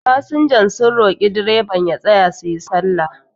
fasinjan sun roki direban ya tsaya su yi sallah